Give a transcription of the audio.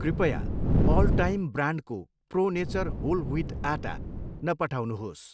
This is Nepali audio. कृपया अल टाइम ब्रान्डको प्रो नेचर होल ह्विट आटा नपठाउनुहोस्।